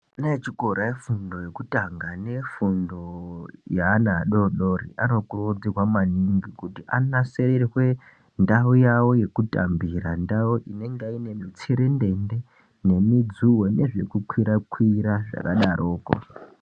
Ana echikora vefundo yekutanga nefundo yeana adodori anokurudzirwa maningi kuti anasirirwe ndau yavo yekutambira inenge ine mudzuwe nemutserendende nezvekukwira kwira zvakadaroko.